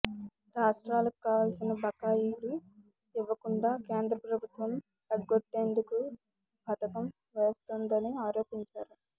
రాష్ట్రాలకు రావాల్సిన బకాయిలు ఇవ్వకుండా కేంద్ర ప్రభుత్వం ఎగ్గొట్టేందుకు పథకం వేస్తోందని ఆరోపించారు